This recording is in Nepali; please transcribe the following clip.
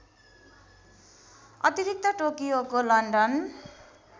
अतिरिक्त टोकियोको लन्डन